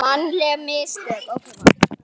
Mannleg mistök?